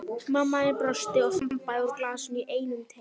Mamma þín brosti og þambaði úr glasinu í einum teyg.